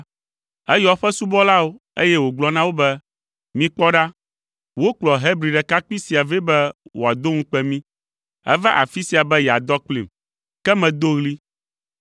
eyɔ eƒe subɔlawo, eye wògblɔ na wo be, “Mikpɔ ɖa, wokplɔ Hebri ɖekakpui sia vɛ be wòado ŋukpe mí! Eva afi sia be yeadɔ kplim, ke medo ɣli.